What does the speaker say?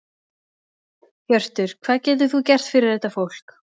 Hjörtur: Hvað getur þú gert fyrir þetta fólk?